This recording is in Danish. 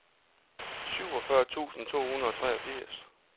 syvogfyrre tusind to hundrede og treogfirs